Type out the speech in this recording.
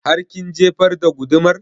Har kin jefar da gudumar?